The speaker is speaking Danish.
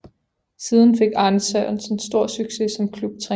Siden fik Arne Sørensen stor succes som klubtræner